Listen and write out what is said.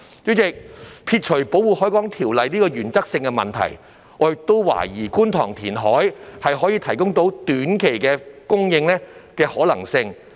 主席，撇除《條例》這個原則性的問題，我亦懷疑觀塘填海可以提供短期土地供應的可能性。